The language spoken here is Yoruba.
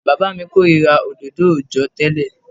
Bàbá mi kórìíra òdodo òòjọ́ tẹ́lẹ̀.